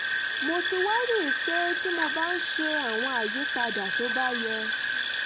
mo ti wá rí i pé tí mo bá ń ṣe àwọn àyípadà tó bá yẹ